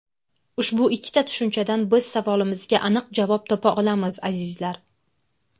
Ushbu ikkita tushunchadan biz savolimizga aniq javob topa olamiz, azizlar.